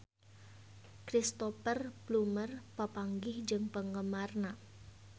Cristhoper Plumer papanggih jeung penggemarna